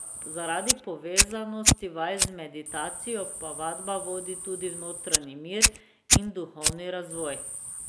Zaradi povezanosti vaj z meditacijo pa vadba vodi tudi v notranji mir in duhovni razvoj.